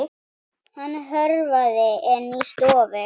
Hann hörfaði inn í stofu.